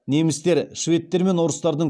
немістер шведтер мен орыстардың